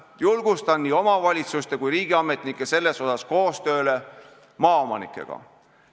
Julgustan nii omavalitsuste kui ka riigiametnikke selles asjas koostööle maaomanikega.